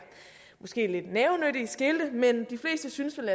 måske nogle lidt nævenyttige skilte men de fleste synes vel